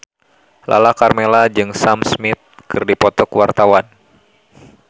Lala Karmela jeung Sam Smith keur dipoto ku wartawan